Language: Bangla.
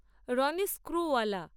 রনিস স্ক্রুবালা